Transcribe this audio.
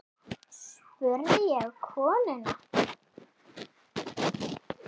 spurði ég konuna.